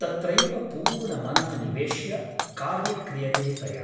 तत्रैव पूर्ण मनः निवेश्य कार्य क्रियते तया ।